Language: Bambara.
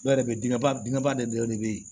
Dɔ yɛrɛ bɛ bin ba binba de bɛ ye